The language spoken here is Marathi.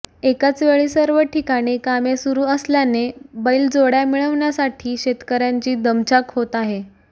एकाचवेळी सर्व ठिकाणी कामे सुरू असल्याने बैलजोड्या मिळविण्यासाठी शेतकर्यांची दमछाक होत आहे